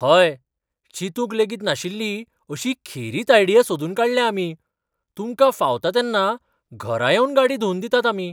हय, चिंतूंक लेगीत नाशिल्ली अशी खेरीत आयडिया सोदून काडल्या आमी. तुमकां फावता तेन्ना घरा येवन गाडी धुंवन दितात आमी.